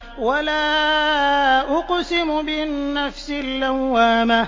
وَلَا أُقْسِمُ بِالنَّفْسِ اللَّوَّامَةِ